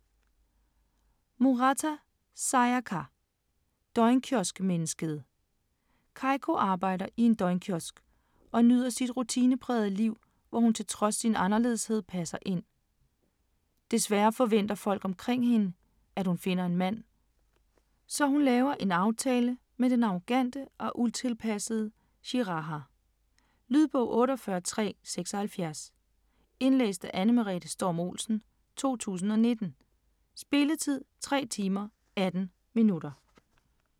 Murata, Sayaka: Døgnkioskmennesket Keiko arbejder i en døgnkiosk og nyder sit rutineprægede liv, hvor hun trods sin anderledeshed passer ind. Desværre forventer folk omkring hende, at hun finder en mand, så hun laver en aftale med den arrogante og utilpassede Shiraha. Lydbog 48376 Indlæst af Anne Merete Storm-Olsen, 2019. Spilletid: 3 timer, 18 minutter.